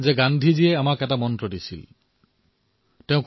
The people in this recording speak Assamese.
গান্ধীজীয়ে আমাক এটা মন্ত্ৰ দিছে সেয়া আমাৰ সকলোৰে মনত আছে